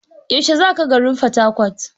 Yaushe za ka garin Fatakwat?